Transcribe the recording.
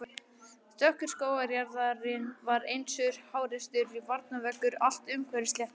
Dökkur skógarjaðarinn var einsog háreistur varnarveggur allt umhverfis sléttuna.